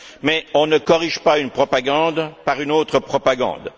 Mais on ne corrige pas une propagande par une autre propagande.